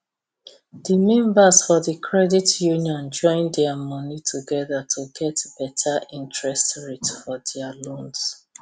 the members for the credit union join their money together to get better interest rate for their loans